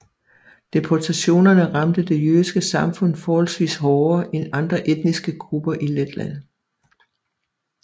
Deportationerne ramte det jødiske samfund forholdsvis hårdere end andre etniske grupper i Letland